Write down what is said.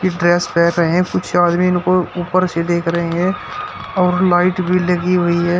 Dress पेर रहे हैं कुछ आदमी इनको ऊपर से देख रहे हैं और लाइट भी लगी हुई है।